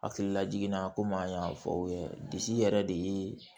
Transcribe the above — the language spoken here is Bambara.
Hakililajigin na komi an y'a fɔ aw ye bi yɛrɛ de ye